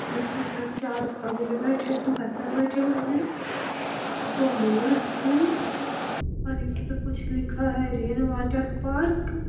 इसके उपर चार बगुला बतख बैठे हुए हैं और दो मोर हैं और इसपे कुछ लिखा है रेन वाटर पार्क I